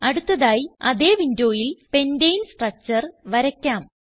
അടുത്തതായി അതേ വിൻഡോയിൽ പെന്റനെ സ്ട്രക്ചർ വരയ്ക്കാം